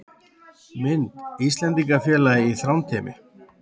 Mynd: Íslendingafélagið í Þrándheimi